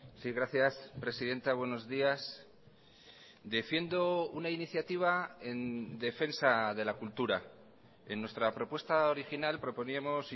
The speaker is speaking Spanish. sí gracias presidenta buenos días defiendo una iniciativa en defensa de la cultura en nuestra propuesta original proponíamos